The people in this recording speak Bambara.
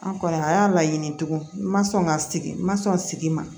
An kɔni a y'a laɲini tugun n ma sɔn ka sigi n ma sɔn sigi ma